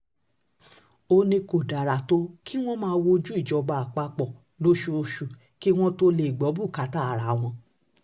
ó ní kò dára tó kí wọ́n máa wojú ìjọba àpapọ̀ lóṣooṣù kí wọ́n tóó lè gbọ́ bùkátà ara wọn